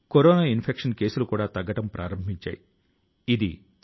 మన కల లు మనకు మాత్రమే పరిమితం కావు